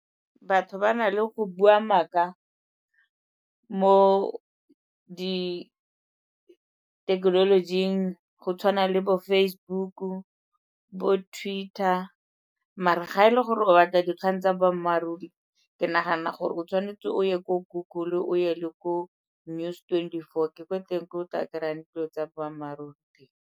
Batho ba na le go bua maaka mo dithekenolojing go tshwana le bo Facebook-u, bo Twitter. Mare ga e le gore o batla dikgang tsa boammaaruri ke nagana gore o tshwanetse o ye ko Google-u, o ye le ko News twenty four ke ko teng ko o tla kry-ang dilo tsa boammaaruri.